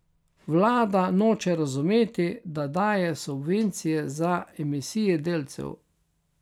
Vlada noče razumeti, da daje subvencije za emisije delcev.